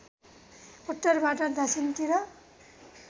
उत्तरबाट दक्षिणतिर